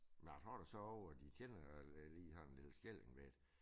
Men jeg tror der så ovre de kender øh lige har en lille skilling med